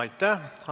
Aitäh!